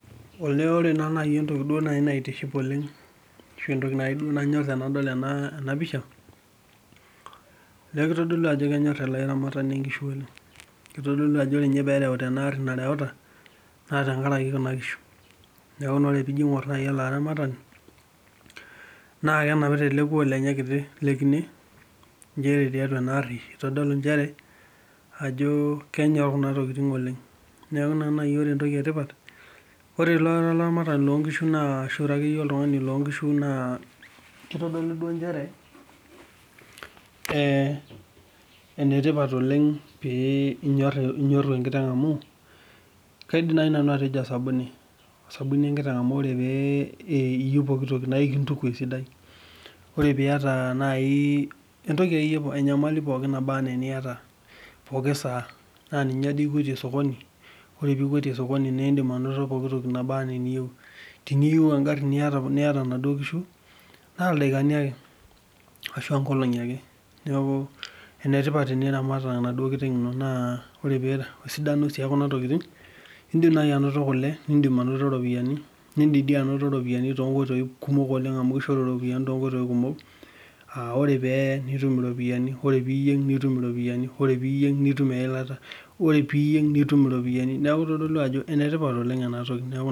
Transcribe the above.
Ore naa naaji naitiship tenadol ena pisha kitodolu Ajo kenyor ele aramatank nkishu oleng kitodolu Ajo oree pee erewuta ena gari narewuta naa tenkaraki nkishu neeku tening'or naaji ele aramatank naa kenapita ele kulo lenye kitii lee kine njere tiatua ena gari nitodolu njere kenyor Kuna tokitin oleng neeku ore entoki etipat ore ira olaranatani loo nkishu ashu ira akeyie oltung'ani loo nkishu naa kitodolu njere kaidim naaji nanu atejo osabuni enkiteg amu ore pee iyieu pooki toki naa ekintuku esidai ore akeyie pee eyata enyamali pookin naba ena enkata pooki saa naa ninye ekwetie sokoni nidim anoto pooki toki niyieu teniyieu enaduo gari niata nkishu naa ildakani ake ashua nkolong'i neeku enetipat teniramat enkiteng eno ore sii esidano ekuna tokitin edim naaji anoto kule nidim anoto ropiani too nkoitoi kumok oleng amu kishoru eropiani too nkoitoi kumok amu ore pee eye nitum eropiani ore mir nitum eropiani ore piyieg nitum eyilata ore pee eyieg nitum eropiani neeku kitodolu Ajo enetipat oleng ena toki